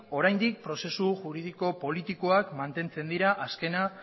oraindik prozesu juridiko politikoak mantentzen dira azkena